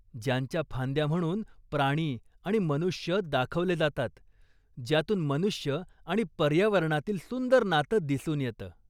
ज्याच्या फांद्या म्हणून प्राणी आणि मनुष्य दाखवले जातात, ज्यातून मनुष्य आणि पर्यावरणातील सुंदर नातं दिसून येतं.